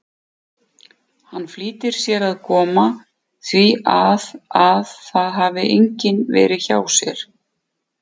Hann flýtir sér að koma því að að það hafi enginn verið hjá sér.